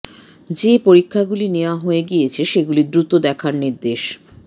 যে পরীক্ষাগুলি নেওয়া হয়ে গিয়েছে সেগুলি দ্রুত দেখার নির্দেশ